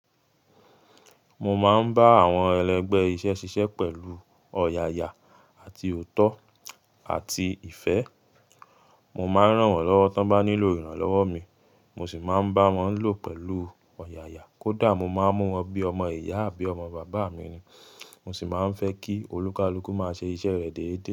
Mo máa ń bá àwọn ẹlẹgbẹ́ iṣẹ́ ṣiṣẹ́ pẹ̀lú ọ̀yàyà àti òótọ́ àti ìfẹ́. Mò màà ń ràn wọn lọwọ ti wọn bá ni ló iránlọwọ mi, mó sì màà ń báwọn lóó pẹlú ọyáyá. Kódà mo máa ń mú wọn bí ọmọ ìyá àbí ọmọ bàbá mi ni, mo sì máa ń fẹ́ kí olúkalúkù máa ṣe iṣẹ́ rẹ̀ déédé.